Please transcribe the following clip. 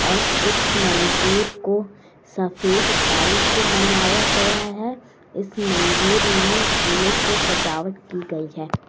और इस मंदिर को सफेद टाइल्स से बनाया गया है इस मंदिर में फूलों से सजावट की गई है।